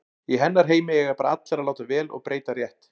Í hennar heimi eiga bara allir að láta vel og breyta rétt.